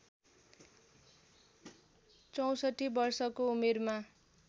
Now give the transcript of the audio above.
६४ वर्षको उमेरमा